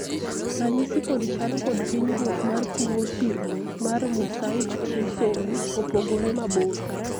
ranyisi kod chal kod hinyruok mar tuo thirno mar mosaic trisomy opogore mabor